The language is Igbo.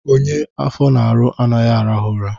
Onye afọ na-arụ anaghị arahụ ụra.